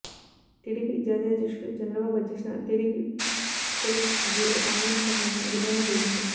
TDP జాతీయ అధ్యక్షుడు చంద్ర బాబు అధ్యక్షతన టీడీపీ పొలిట్ బ్యూరో ఆన్లైన్ సమావేశం గురువారం జరిగింది